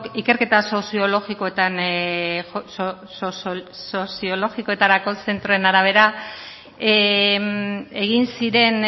ikerketa soziologikoetarako zentroaren arabera egin ziren